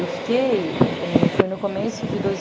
Eu fiquei... Foi no começo de dois